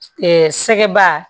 sɛgɛba